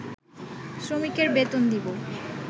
শ্রমিকের বেতন দিবো